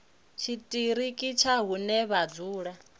tshiṱiriki tsha hune vha dzula